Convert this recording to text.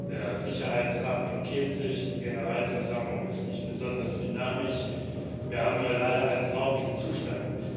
Der Sicherheitsrat blockiert sich, die Generalversammlung ist nicht besonders dynamisch, wir haben leider einen traurigen Zustand.